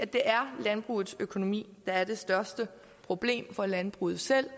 det er landbrugets økonomi der er det største problem for landbruget selv